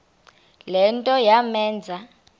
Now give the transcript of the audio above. le nto yamenza